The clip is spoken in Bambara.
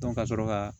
ka sɔrɔ ka